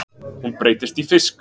Hún breytist í fisk.